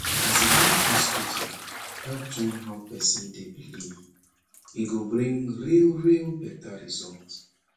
as in when hospital help join how person dey believe e go bring real real better result